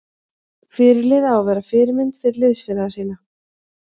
Fyrirliði á að vera fyrirmynd fyrir liðsfélaga sína.